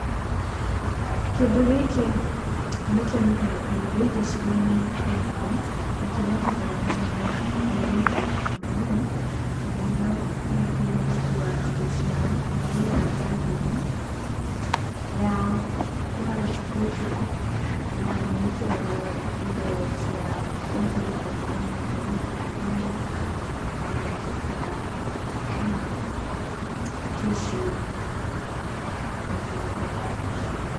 Kĩndũ gĩkĩ nĩ kĩonekaga kaingĩ gĩcigo-inĩ gĩakwa, na kĩonekaga nĩ airĩtu muno mũno, tondũ nĩo moĩkaine gũkuua indo ciao kũhũthĩra mbagi ĩno, ya gwĩkĩra, na ĩkĩragwo indo cia kũhũthĩra o mũthenya o mũthenya ta thimũ, tissue, na maũndũ ta macio.